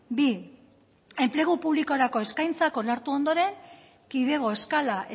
bi enplegu publikorako eskaintzak onartu ondoren kidego eskala